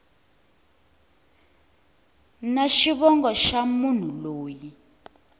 na xivongo xa munhu loyi